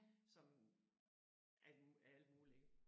Som alt alt muligt ik